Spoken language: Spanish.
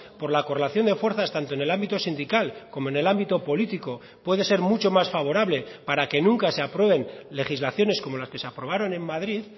por la correlación de fuerzas tanto en el ámbito sindical como en el ámbito político puede ser mucho más favorable para que nunca se aprueben legislaciones como las que se aprobaron en madrid